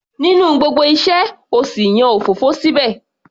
Nínú gbogbo iṣẹ́,o sì yan òfófó síbẹ̀?